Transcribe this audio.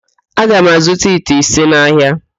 Aga m azụta ite ise n'ahịa.